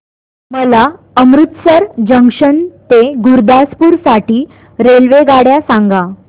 मला अमृतसर जंक्शन ते गुरुदासपुर साठी रेल्वेगाड्या सांगा